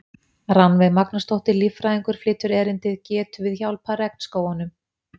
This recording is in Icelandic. Rannveig Magnúsdóttir, líffræðingur, flytur erindið: Getum við hjálpað regnskógunum?